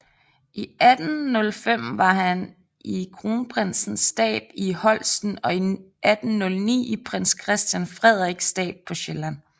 I 1805 var han i kronprinsens stab i Holsten og i 1809 i prins Christian Frederiks stab på Sjælland